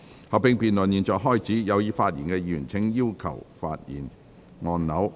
合併辯論現在開始，有意發言的議員請按"要求發言"按鈕。